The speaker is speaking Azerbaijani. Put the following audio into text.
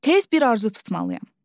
Tez bir arzu tutmalıyam.